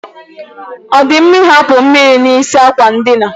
Ọ dị mma I hapụ mmiri n'isi àkwà ndina.